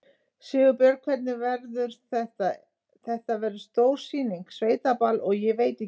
Sigurbjörn, hvernig verður þetta, þetta verður stór sýning, sveitaball og ég veit ekki hvað?